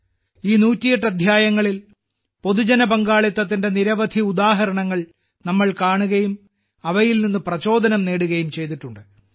ഈ 108 അദ്ധ്യായങ്ങളിൽ പൊതുജന പങ്കാളിത്തത്തിന്റെ നിരവധി ഉദാഹരണങ്ങൾ നമ്മൾ കാണുകയും അവയിൽ നിന്ന് പ്രചോദനം നേടുകയും ചെയ്തിട്ടുണ്ട്